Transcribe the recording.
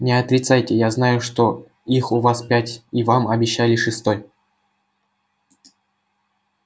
не отрицайте я знаю что их у вас пять и вам обещали шестой